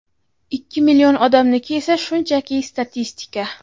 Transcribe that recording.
ikki million odamniki esa shunchaki statistika.